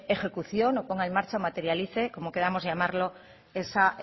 ejecución o ponga en marcha o materialice como queramos llamarlo esa